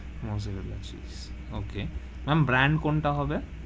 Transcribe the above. মরজেরার cheese okay ma'am brand কোনটা হবে?